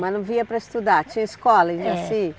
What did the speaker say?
Mas não vinha para estudar, tinha escola e assim?